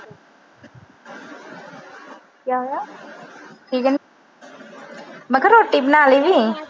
ਮੈਂ ਕਿਹਾ ਰੋਟੀ ਬਣਾ ਲਈ।